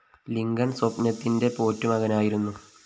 Lincoln‍ സ്വപ്‌നത്തിന്റെ പോറ്റു മകനായിരുന്നു